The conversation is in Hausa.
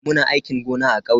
Muna aikin gona a kauye.